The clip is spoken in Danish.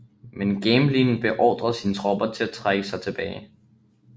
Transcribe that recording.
Men Gamelin beordrede sine tropper til at trække sig tilbage